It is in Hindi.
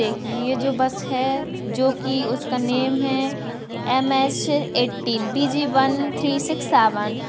देखिए ये जो बस है जो की उसका नेम हैं M H eighteen B G one three six seven.